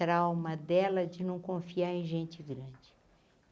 Trauma dela de não confiar em gente grande.